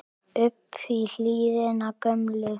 upp í hlíðina gömlu